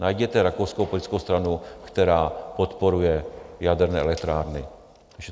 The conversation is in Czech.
Najděte rakouskou politickou stranu, která podporuje jaderné elektrárny.